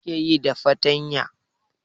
Me ake yi da fartanya?